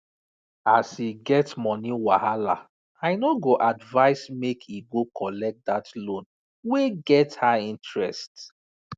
as e get money wahala i no go advise make e go collect that loan wey get high interest